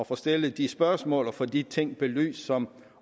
får stillet de spørgsmål og får de ting belyst som